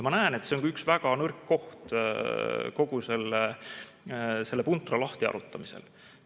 Ma näen, et see on ka üks väga nõrk koht kogu selle puntra lahtiharutamisel.